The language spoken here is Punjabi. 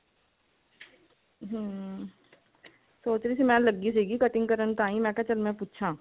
ਹਮ ਸੋਚ ਰਹੀ ਸੀ ਮੈਂ ਲੱਗੀ ਸੀਗੀ cutting ਕਰਨ ਤਾਹੀ ਮੈਂ ਕਿਹਾ ਚੱਲ ਪੁੱਛਾ